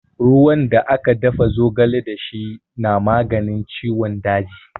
Ruwan da aka dafa zogale da shi na maganin ciwon daji.